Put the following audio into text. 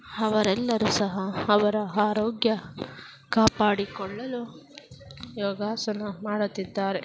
ಅವರೆಲ್ಲರೂ ಸಹ ಅವರ ಆರೋಗ್ಯ ಕಾಪಾಡಿಕೊಳ್ಳಲು ಯೋಗಾಸನ ಮಾಡುತ್ತಿದ್ದಾರೆ .